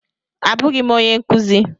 Abụghị m onye nkuzi.